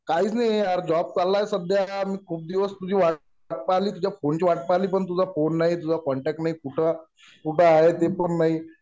काहीच नाहीये यार. जॉब चाललाय सध्या .मी खूप दिवस तुझी वाट पहिली. तुझ्या फोनची वाट पहिली. पण तुझा फोन नाही. तुझा कॉन्टॅक्ट नाही. कुठं आहे ते पण नाही.